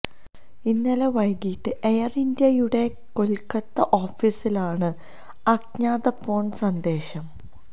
ഇന്നലെ വൈകീട്ട് എയര് ഇന്ത്യയുടെ കൊല്ക്കത്ത ഓഫീസിലാണ് അജ്ഞാത ഫോണ് സന്ദേശം